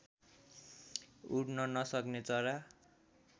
उड्न नसक्ने चरा